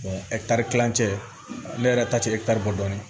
ɛkitari kilancɛ ne yɛrɛ ta tɛ dɔɔnin